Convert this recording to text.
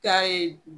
Taa ye